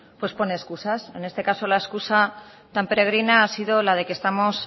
pues pone excusas en este caso la excusa tan peregrina ha sido la de que estamos